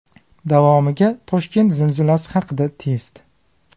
Davomiga Toshkent zilzilasi haqida test .